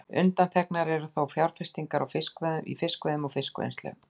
Undanþegnar eru þó fjárfestingar í fiskveiðum og fiskvinnslu.